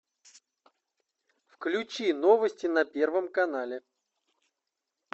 включи новости на первом канале